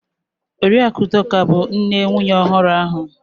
Oriakụ Udoka bu nne nwunye ohuru ahu.